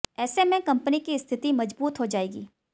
ऐसे में कंपनी की स्थिति मजबूत हो जाएगी